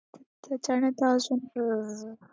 त्याच्यानंतर अजून अं